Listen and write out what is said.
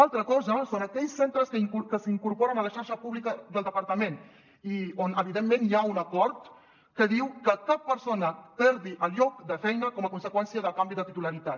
altra cosa són aquells centres que s’incorporen a la xarxa pública del departament i on evidentment hi ha un acord que diu que cap persona perdi el lloc de feina com a conseqüència del canvi de titularitat